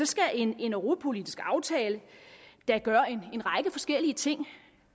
skal en europapolitisk aftale da gøre en række forskellige ting